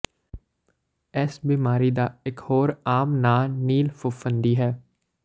ਇਸ ਬਿਮਾਰੀ ਦਾ ਇਕ ਹੋਰ ਆਮ ਨਾਂ ਨੀਲ ਫ਼ਫ਼ੂੰਦੀ ਹੈ